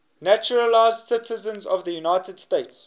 naturalized citizens of the united states